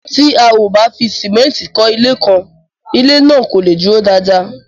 Tí a ò bá fi símẹ́ntì kó ilé kan, ilé náà kò leè dúró dáadáa.